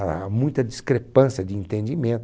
Há muita discrepância de entendimento.